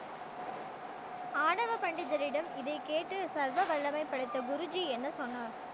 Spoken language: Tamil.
ஆணவ பண்டிதரிடம் இதை கேட்டு சர்வ வல்லமை படைத்த குருஜி என்ன சொன்னார்